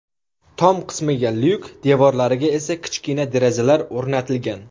Tom qismiga lyuk, devrolariga esa kichkina derazalar o‘rnatilgan.